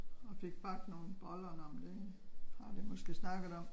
Og fik bagt nogen boller nå men det har vi måske snakket om